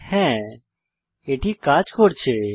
হ্যা এটি কাজ করছে